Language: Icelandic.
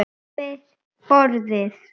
Yfir borðið.